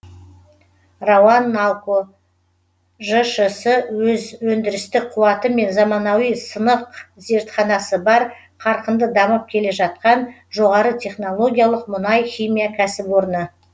рауанналко жшс өз өндірістік қуаты мен заманауи сынақ зертханасы бар қарқынды дамып келе жатқан жоғары технологиялық мұнай химия кәсіпорны